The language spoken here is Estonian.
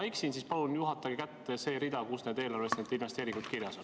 Kui ma eksin, siis palun juhatage kätte see rida, kus kohas eelarves need investeeringud kirjas on.